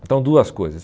Então, duas coisas.